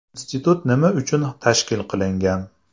Institut nima uchun tashkil qilingan?